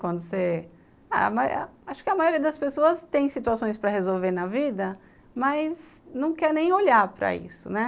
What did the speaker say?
Quando você... Acho que a maioria das pessoas tem situações para resolver na vida, mas não quer nem olhar para isso, né?